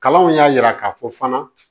Kalanw y'a jira k'a fɔ fana